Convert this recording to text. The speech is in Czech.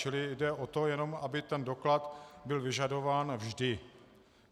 Čili jde jenom o to, aby ten doklad byl vyžadován vždy.